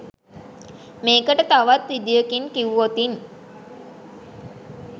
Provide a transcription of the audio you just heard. මේකට තවත් විදියකින් කිව්වොත්